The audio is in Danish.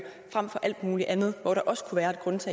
frem for alt muligt andet hvor der også kunne